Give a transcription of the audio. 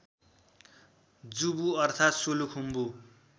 जुबु अर्थात् सोलु खुम्बु